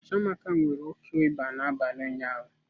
Chiamaka nwere oke ịba n'abalị ụnyaahụ.